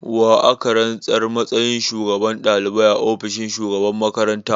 Wa aka rantsar a matsayin shugaban dalibai a ofishin shugaban makaranta?